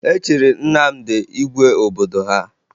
E chiri Nnamdị igwe obodo ha